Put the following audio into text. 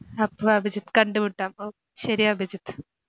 അപ്പോ അഭിജിത് കണ്ടുമുട്ടാം ഓ ശരി അഭിജിത്ത്.